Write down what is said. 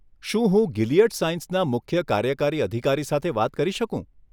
શું હું ગિલિયડ સાયન્સના મુખ્ય કાર્યકારી અધિકારી સાથે વાત કરી શકું?